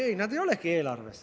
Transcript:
Ei, nad ei olegi eelarves.